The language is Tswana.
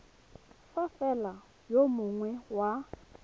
fa fela yo mongwe wa